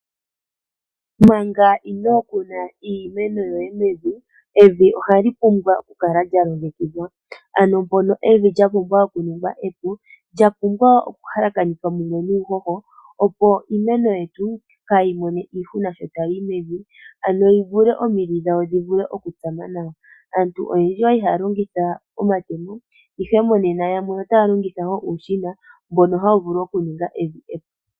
Manga ino kuna iimeno yoye mevi, olya pumbwa okukala lyalongekidhwa. Olya pumbwa oku ningwa epu lyahalakanithwa mumwe nuuhoho, opo sho iimeno tayi yimo kaayimone iihuna, omidhi dhawo dhi vule oku tsama nawa. Aantu oyendji oyali haya longitha omatemo, ihe monena yamwe otaya longitha uushina mbono hawu vulu oku ninga evi epu.